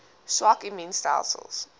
swak immuun stelsels